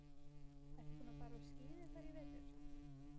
Ertu búinn að fara á skíði þar í vetur?